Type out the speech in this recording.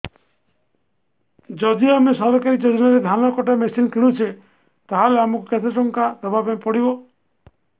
ଯଦି ଆମେ ସରକାରୀ ଯୋଜନାରେ ଧାନ କଟା ମେସିନ୍ କିଣୁଛେ ତାହାଲେ ଆମକୁ କେତେ ଟଙ୍କା ଦବାପାଇଁ ପଡିବ